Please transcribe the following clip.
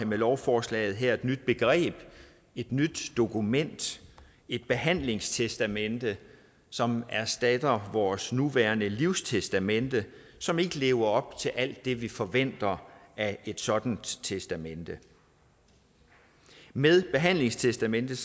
med lovforslaget her indfører et nyt begreb et nyt dokument et behandlingstestamente som erstatter vores nuværende livstestamente som ikke lever op til alt det vi forventer af et sådant testamente med behandlingstestamentet